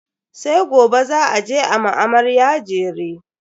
sai gobe za a je a ma amarya jere